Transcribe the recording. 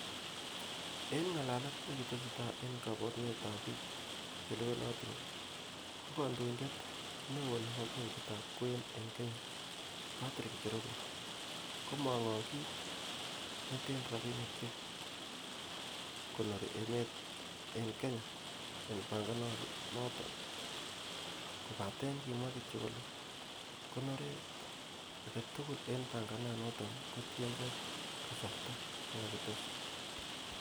En ngalalet nekitestai en kobureitab bik che lewenotin, ko kondoindet neo nebo benkitab kwen en kenya Patrick Njoroge, komong'ong kit neten rabinik che konori emetab en Kenya en pangananoton, kobaten kimwa kityok kole konoret agetugul en pangananoton kotienge kasartab nekakites.